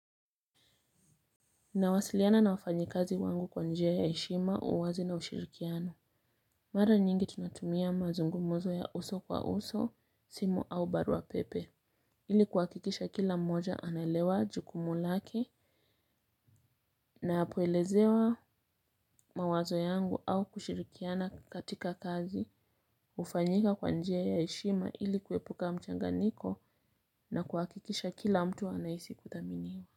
Nawasiliana na wafanyi kazi wangu kwa njia ya heshima, uwazi na ushirikiano. Mara nyingi, tunatumia mazungumuzo ya uso kwa uso, simu au barua pepe. Ili kuwakikisha kila mmoja analewa jukumu lake na poelezewa mawazo yangu au kushirikiana katika kazi. Ufanyika kwa njia ya heshima, ili kuwepuka mchanganiko na kuwakikisha kila mtu anahisi kuthaminiwa.